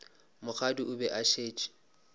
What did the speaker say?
mokgadi o be a šetše